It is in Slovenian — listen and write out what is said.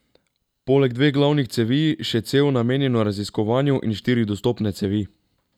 Poleg dveh glavnih cevi še cev namenjeno raziskovanju in štiri dostopne cevi.